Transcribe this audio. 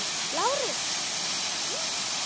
LÁRUS: Ég?